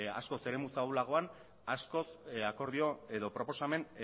askoz eremu ahulagoan askoz akordio edo proposamen